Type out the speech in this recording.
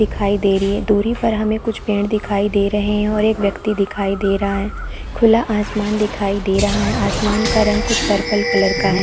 दिखाई दे रही है और दूरी पर हमें कुछ पेड़ दिखाई दे रहै है और एक व्यक्ति दिखाई दे रहा है और खुला आसमान दिखाई दे रहा है आसमान का रंग कुछ पर्पल का कलर हैं।